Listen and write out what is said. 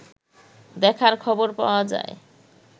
দেখার খবর পাওয়া যায়